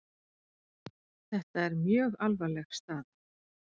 Þetta er mjög alvarleg staða.